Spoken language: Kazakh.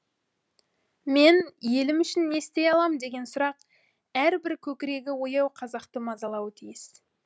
мен елім үшін не істей алам деген сұрақ әр бір көкірегі ояу қазақты мазалауы тиіс